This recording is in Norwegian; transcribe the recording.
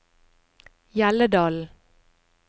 Hjelledalen